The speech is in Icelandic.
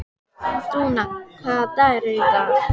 Dúna, hvaða dagur er í dag?